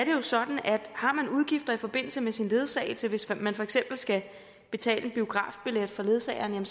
jo sådan at har man udgifter i forbindelse med sin ledsagelse hvis man for eksempel skal betale en biografbillet for ledsageren